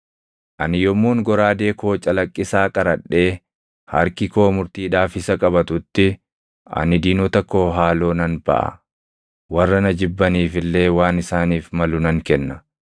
ani yommuun goraadee koo calaqqisaa qaradhee harki koo murtiidhaaf isa qabatutti, ani diinota koo haaloo nan baʼa; warra na jibbaniif illee waan isaaniif malu nan kenna.